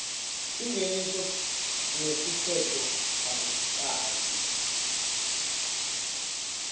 singeniso nesiphetfo akucaci